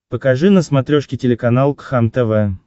покажи на смотрешке телеканал кхлм тв